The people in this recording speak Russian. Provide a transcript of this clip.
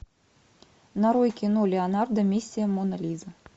нарой кино леонардо миссия мона лиза